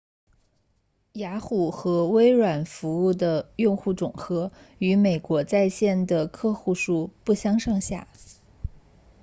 雅虎和微软服务的用户总和与美国在线的客户数不相上下